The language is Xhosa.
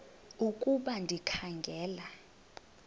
ukuba ndikha ngela